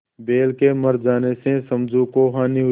बैल के मर जाने से समझू को हानि हुई